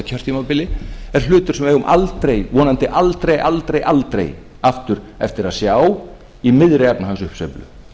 kjörtímabil er hlutur sem við eigum vonandi aldrei aldrei aftur eftir að sjá í miðri efnahagsuppsveiflu